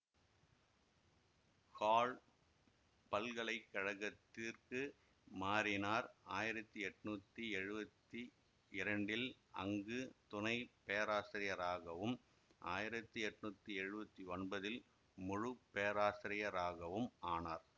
call பல்கலை கழகத்திற்கு மாறினார் ஆயிரத்தி எட்ணூத்தி எழுவத்தி இரண்டில் அங்கு துணைப்பேராசிரியராகவும் ஆயிரத்தி எட்ணூத்தி எழுவத்தி ஒன்பதில் முழுப்பேராசிரியராகவும் ஆனார்